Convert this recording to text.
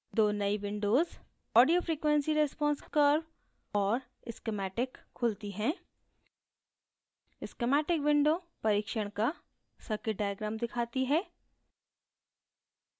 दो नयी windows audio frequency response curve और schematic खुलती हैं schematic windows परिक्षण का circuit diagram दिखाती है